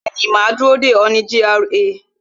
Bẹẹni, ma dúró dè ọ́ ní gra